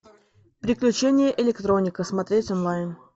приключения электроника смотреть онлайн